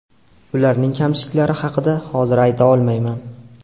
Ularning kamchiliklari haqida hozir ayta olmayman.